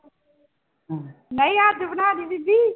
ਨਹੀਂ ਅੱਜ ਬਣਾ ਦੇਈਂ ਬੀਬੀ।